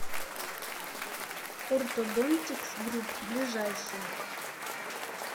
ортодонтикс групп ближайший